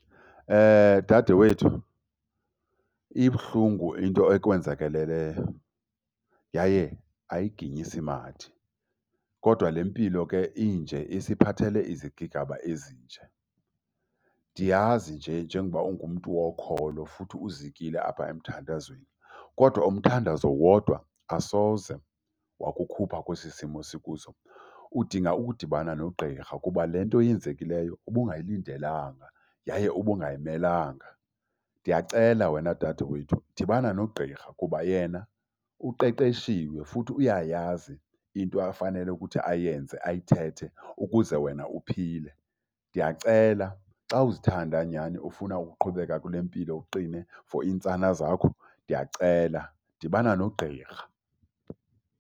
Dade wethu ibuhlungu into ekwenzakaleleyo yaye ayiginyisimathe. Kodwa le mpilo ke inje isiphathelele izigigaba ezinje. Ndiyazi nje njengoba ungumntu wokholo futhi uzikile apha emthandazweni kodwa umthandazo wodwa asoze wakukhupha kwesi simo sikuzo. Udinga ukudibana nogqirha kuba le nto yenzekileyo ubungayilindelanga yaye ubungayimelanga. Ndiyacela wena dade wethu, dibana nogqirha kuba yena uqeqeshiwe futhi uyayazi into afanele ukuthi ayenze, ayithethe ukuze wena uphile. Ndiyacela, xa uzithanda nyhani ufuna ukuqhubeka kule mpilo uqine for iintsana zakho, ndiyacela dibana nogqirha.